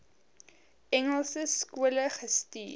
engelse skole gestuur